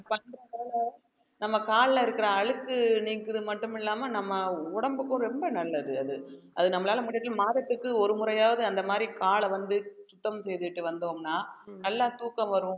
இப்படி பண்ணறதுனால நம்ம கால்ல இருக்கிற அழுக்கு நீக்குறது மட்டுமில்லாம நம்ம உடம்புக்கும் ரொம்ப நல்லது அது அது நம்மளால முடிஞ்சு மாதத்துக்கு ஒரு முறையாவது அந்த மாதிரி காலை வந்து சுத்தம் செய்து செய்துட்டு வந்தோம்னா நல்லா தூக்கம் வரும்